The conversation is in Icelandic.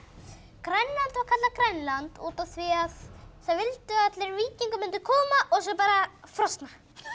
Grænland var kallað Grænland út af því að það vildu allir að víkingar myndu koma og svo bara frosna